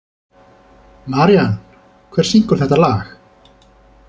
Marían, hver syngur þetta lag?